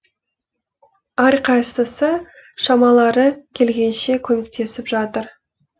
әрқайсысы шамалары келгенше көмектесіп жатыр